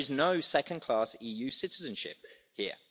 There is no second class EU citizenship here.